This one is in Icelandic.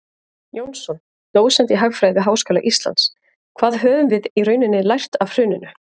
Jónsson, dósent í hagfræði við Háskóla Íslands: Hvað höfum við í rauninni lært af hruninu?